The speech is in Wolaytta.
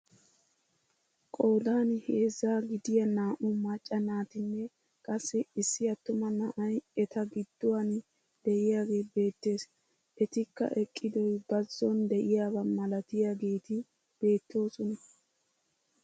Qoodan heezzaa gidiyaa naa"u macca naatinne qassi issi attuma na'ay eta gidduwaan de'iyaagee beettees. etikka eqqidoy bazon de'iyaaba malatiyaageti beettoosona.